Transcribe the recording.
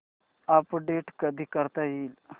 update कधी करता येईल